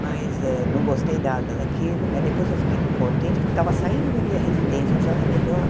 Mas eh não gostei nada daquilo, mas depois eu fiquei contente, porque estava saindo da minha residência, disse ah é melhor.